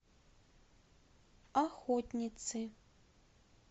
охотницы